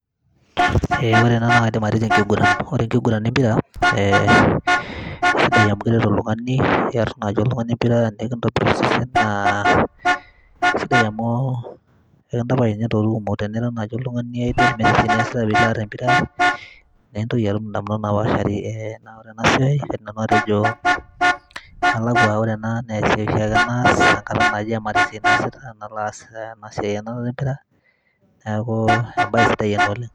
Ee ore ena naa dimaritin enkiguran, ore enkiguran empira e kesidai amu ekiret nai oltungani kesidai amu enkitobir osesen naa kesidai amu ekintapaash nye ntokitin kumok amu ekintapaash entoki naji idleness tenilo aar empira nemintoki atum ndamunot napaashari tenasiai matejo ore ena na kaas amu maata esia nasita amu kaata ena siai enarata empira neaku embae sidai ena oleng.